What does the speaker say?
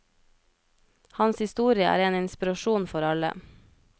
Hans historie er en inspirasjon for alle.